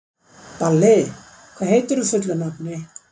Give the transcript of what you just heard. Balli, hvað heitir þú fullu nafni?